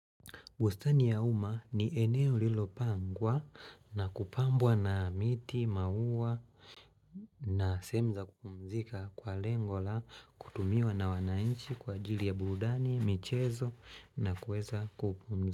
Bustani ya uma ni eneo lilopangwa na kupambwa na miti, maua. Na sehemu za kupumzika kwa lengola kutumiwa na wanainchi kwa jili ya burudani, michezo na kuweza kupumzika.